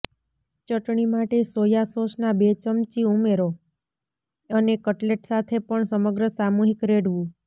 ચટણી માટે સોયા સોસના બે ચમચી ઉમેરો અને કટલેટ સાથે પણ સમગ્ર સામૂહિક રેડવું